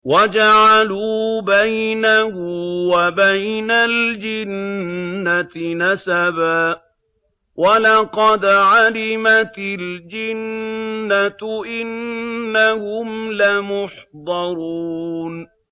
وَجَعَلُوا بَيْنَهُ وَبَيْنَ الْجِنَّةِ نَسَبًا ۚ وَلَقَدْ عَلِمَتِ الْجِنَّةُ إِنَّهُمْ لَمُحْضَرُونَ